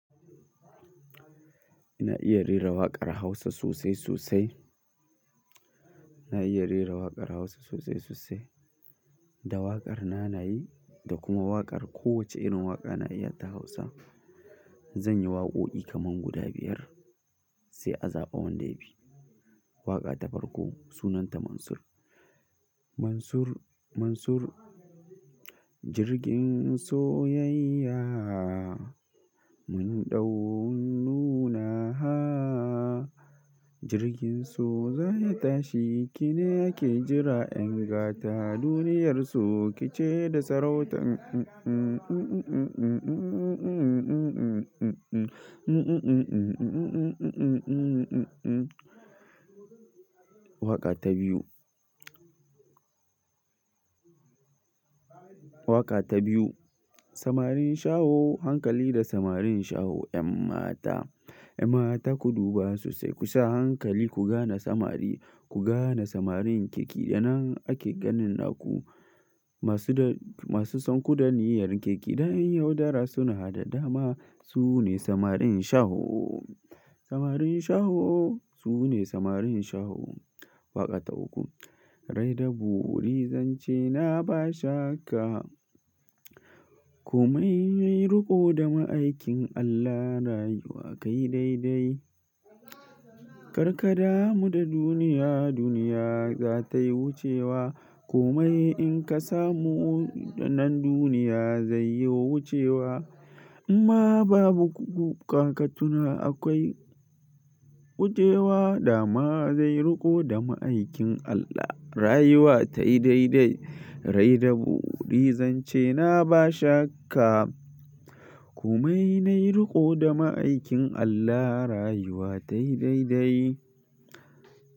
Ina iya rera waƙar Hausa sosai sosai. Ina iya rera waƙar Hausa sosai sosai. Da waƙar na nayi da kuma waƙar ko wace irin waƙa na iya ta Hausa. Zan yi waƙoƙi kaman guda biyar sai a zaɓa wanda ya fi. Waƙa ta farko sunanta Mansur. Mansur, Mansur. Jirgin soyayya mun ɗau nunaha. Jirgin so zai tashi. Ki nakee jira 'yan gata. Duniyar so ki ce da sarauta. Waƙa ta biyu. Waƙa ta biyu. Samarin Shaho, hankali da samarin Shaho 'yan mata. 'Yan mata ku duba sosai ku sa hankali ku gane samari. Ku gane samarin ke kenan ake ganin naku. Masu da, masu son ku da niyyar keke. Dan yaudara suna da dama. Su ne samarin Shaho. Samarin Shaho su ne samarin Shaho. Waƙa ta uku. Rai da buri zance na ba shakka. Koma nayi riko da ma'aikin Allah rayuwa kai dai dai. Karka damu da duniya, duniya za tayi wucewa. Komai in ka samu nan duniya zai yi wucewa. Amma babu ƙoƙaƙatuna akwai wucewa. Dama zai riko da ma'aikin Allah rayuwa tayi dai dai. Rai da buri zance na ba shakka. Komai nayi riko da ma'aikin Allah rayuwa tayi dai dai.